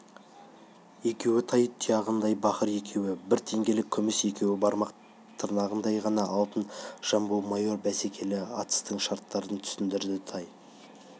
екеуі тай тұяғындай бақыр екеуі бір теңгелік күміс екеуі бармақ тырнағындай ғана алтын жамбы майор бәсекелі атыстың шарттарын түсіндірді тай